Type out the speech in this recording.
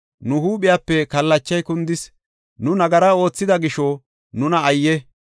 Nu huuphiyape kallachay kundis; nu nagara oothida gisho nuna ayye!